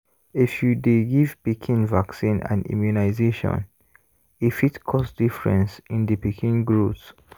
if you dey give pikin vaccine and immunization e fit cause difference in the pikin growth.